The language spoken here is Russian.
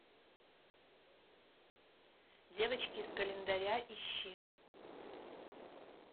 девочки из календаря ищи